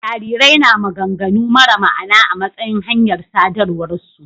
Jarirai na maganganu mara ma'ana a matsayin hanyar sadarwarsu.